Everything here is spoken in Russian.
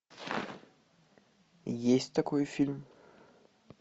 есть такой фильм